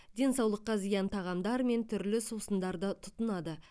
денсаулыққа зиян тағамдар мен түрлі сусындарды тұтынады